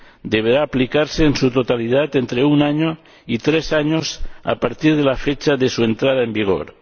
Deberá aplicarse en su totalidad entre un año y tres años a partir de la fecha de su entrada en vigor.